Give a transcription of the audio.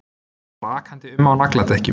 Hann var akandi um á nagladekkjum